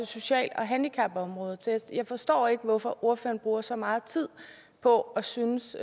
social og handicapområdet så jeg forstår ikke hvorfor ordføreren bruger så meget tid på at synes